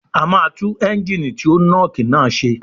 A máa tú Ẹ́ńgìnì tí ó nọ́ọ̀kì náà ṣe